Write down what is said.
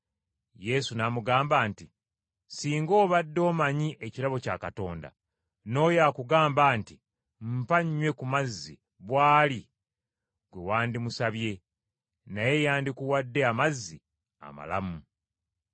Yesu n’amuddamu nti, “Singa obadde omanyi ekirabo kya Katonda, n’oyo akugamba nti mpa nnywe ku mazzi bw’ali ggwe wandimusabye, naye yandikuwadde amazzi amalamu.”